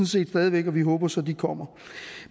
set stadig væk og vi håber så at de kommer